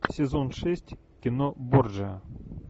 сезон шесть кино борджиа